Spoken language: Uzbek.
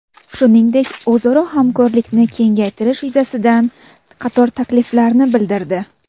Shuningdek, o‘zaro hamkorlikni kengaytirish yuzasidan qator takliflarini bildirdi.